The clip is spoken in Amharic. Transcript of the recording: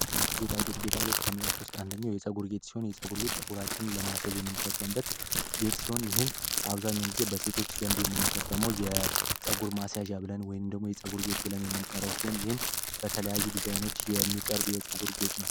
ጌጣጌጥ ከ አንደኛው የፀጉር ቤት ሲሆን የፀጉራችንን ለማሳየት አብዛኛውን ጊዜ በሴቶች የፀጉር ማስያዣ ብለን ወይም ደግሞ የፀጉር ብለን የምንጠረው ሲሆን በተለያዩ ዲዛይኖች የሚቀርብ የፀጉር ነው